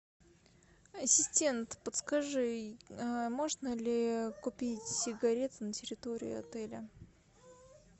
ассистент подскажи можно ли купить сигареты на территории отеля